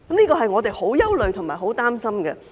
這是我們相當憂慮和擔心的。